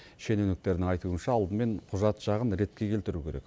шенеуніктердің айтуынша алдымен құжат жағын ретке келтіру керек